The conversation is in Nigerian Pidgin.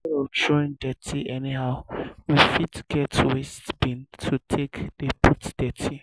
instead of throwing dirty anyhow we fit get waste bin to take dey put dirty